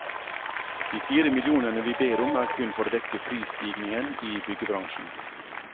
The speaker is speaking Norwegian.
De fire millionene vi ber om er kun for å dekke prisstigningen i byggebransjen.